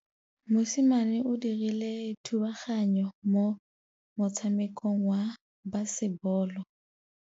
Mosimane o dirile thubaganyô mo motshamekong wa basebôlô.